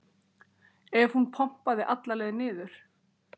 ef hún pompaði alla leið niður.